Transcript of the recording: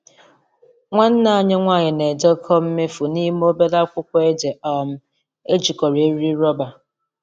Nwanne anyị nwanyị na-edekọ mmefu n’ime obere akwụkwọ ede um ejikọrọ eriri rọba.